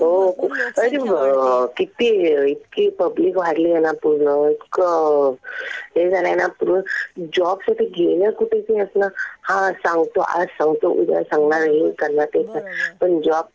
हो खूप. किती इतकी पब्लिक वाढलीये ना पूर्ण. इतकं हे झालंय ना पूर्ण, जॉबसाठी गेलं कुठे कि आपलं हा सांगतो आज सांगतो उद्या सांगणार, आणि हे करणार, ते करणार. पण जॉब काही भेटत नाही कुठे